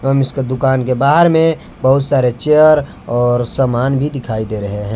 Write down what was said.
हम इसका दुकान के बाहर में बहुत सारे चेयर और समान भी दिखाई दे रहे हैं।